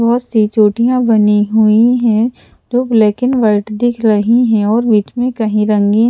बहुत सी चोटियां बनी हुई हैं जो ब्लैक एंड व्हाइट दिख रही हैं और बीच में कहीं रंगीन--